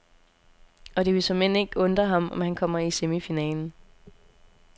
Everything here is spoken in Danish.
Og det vil såmænd ikke undre ham, om han kommer i semifinalen.